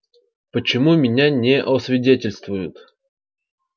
почему меня не освидетельствуют